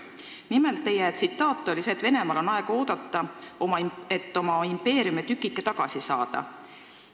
Nimelt, teie tsitaat oli, et Venemaal on aega oodata, et oma impeeriumitükikesi tagasi saada.